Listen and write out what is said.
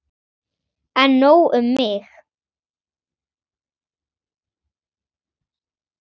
En nóg um mig.